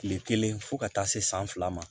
Kile kelen fo ka taa se san fila ma